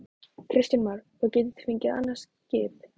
Kristján Már: Og getið þið fengið annað skip?